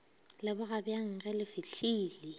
leboga bjang ge le fihlile